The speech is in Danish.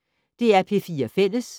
DR P4 Fælles